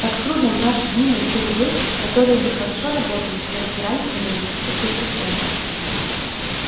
так трудно в наши дни найти людей которые бы хорошо работали и разбирались в энергетических системах